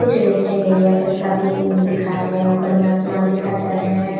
कुछ resting area है जेसा भी दिखाया गया है उपर में आसमान दिखाया जा रहे है।